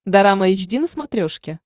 дорама эйч ди на смотрешке